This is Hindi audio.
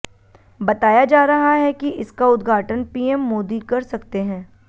बताया जा रहा है कि इसका उद्घाटन पीएम मोदी कर सकते हैं